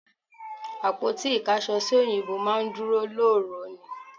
Àpótí ìkáṣọsí òyìnbó máa ń dúró lóòró ni